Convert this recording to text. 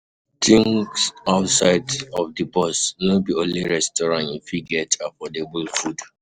Think outside of di box, no be only restaurant you fit get affordable food